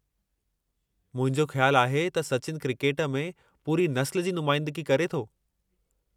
मुंहिंजो ख़्यालु आहे त सचिन क्रिकेट में पूरी नस्लु जी नुमाइंदगी करे थो।